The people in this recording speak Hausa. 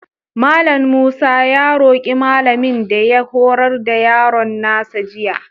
Mallam Musa ya roƙi malamin da ya horar da yaron nasa jiya.